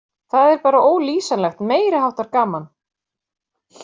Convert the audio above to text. Það er bara ólýsanlegt, meiri háttar gaman.